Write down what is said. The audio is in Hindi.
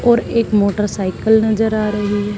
और एक मोटरसाईकल नजर आ रही है।